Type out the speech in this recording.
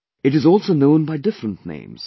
It is also known by different names